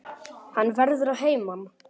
Hann verður að heiman.